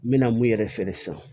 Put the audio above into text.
N mɛna mun yɛrɛ feere san